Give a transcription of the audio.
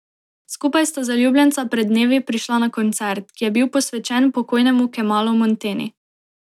Skupaj sta zaljubljenca pred dnevi prišla na koncert, ki je bil posvečen pokojnemu Kemalu Monteni.